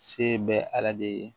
Se bɛ ala de ye